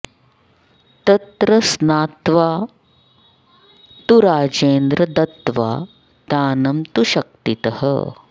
तत्र स्नात्वा तु राजेन्द्र दत्त्वा दानं तु शक्तितः